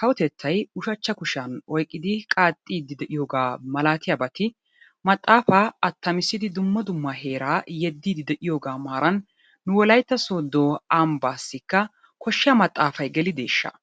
kowotettay ushachchaa kushiyaan oyqiddi qaxidi deiyogga malatiyaabatti, maxafaa atamissidi duma duma heraa yedidi deiyoga maranni wolaytta sodo ambasikka koshiyaa maxafayi gelideshshaa?